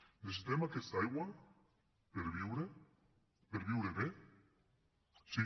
necessitem aquesta aigua per viure per viure bé sí